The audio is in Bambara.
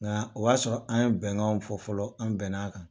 Nka o y'a sɔrɔ an ye bɛnkanw fɔ fɔlɔ an bɛn n'a kan.